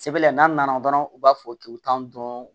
Sɛbɛn la n'an nana dɔrɔn u b'a fɔ k'i tan dɔn